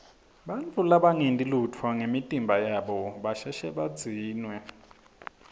bantfu labangenti lutfo ngemitimba yabo basheshe badzinwe